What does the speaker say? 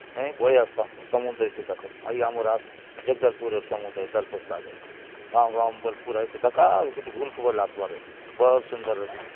बढ़िया समुद्र अछि दख ये आमर जगदलपुर र समुद्र आय दलपत सागर गांव-गांव ने बले एके दखा अउर इति बुल्के बले आसबार आय बहुत सुंदर --